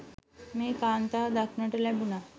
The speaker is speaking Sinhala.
මේ කාන්තාව දකින්නට ලැබුනා.